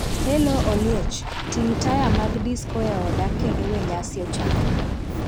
hello Oliech, ting' taya mag disko e oda kendo we nyasi ochakre